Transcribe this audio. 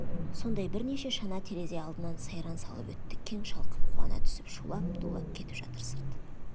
сондай бірнеше шана терезе алдынан сайран салып өтті кең шалқып қуана түсіп шулап-дулап кетіп жатыр сырт